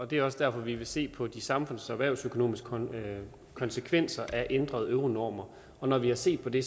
det er også derfor vi vil se på de samfunds og erhvervsøkonomiske konsekvenser af ændrede euronormer når vi har set på det